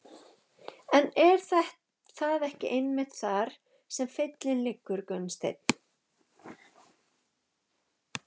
En er það ekki einmitt þar sem feillinn liggur Gunnsteinn?